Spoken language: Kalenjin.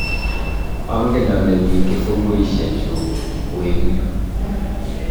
angen ale mi kifunguishe chuu oi eng yu.